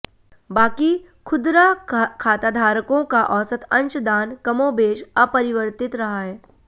बाकी खुदरा खाताधारकों का औसत अंशदान कमोबेश अपरिवर्तित रहा है